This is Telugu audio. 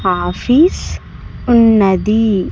ఆఫీస్ ఉన్నది.